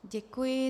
Děkuji.